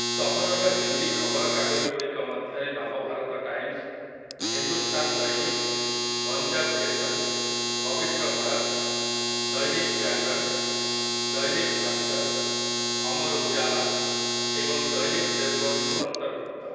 ସହରର ହିନ୍ଦୀ ଖବରକାଗଜଗୁଡ଼ିକ ମଧ୍ୟରେ ନବଭାରତ ଟାଇମ୍‌ସ, ହିନ୍ଦୁସ୍ତାନ୍ ଦୈନିକ୍, ପଞ୍ଜାବ୍ କେଶରୀ, ପବିତ୍ର ଭାରତ୍, ଦୈନିକ୍ ଜାଗରଣ୍, ଦୈନିକ୍ ଭାସ୍କର୍, ଅମର୍ ଉଜାଲା ଏବଂ ଦୈନିକ୍ ଦେବ୍‌ବନ୍ଧୁ ଅନ୍ତର୍ଭୁକ୍ତ ।